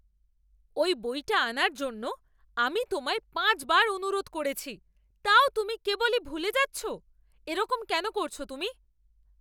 ওই বইটা আনার জন্য আমি তোমায় পাঁচবার অনুরোধ করেছি তাও তুমি কেবলই ভুলে যাচ্ছো। এরকম কেন করছো তুমি?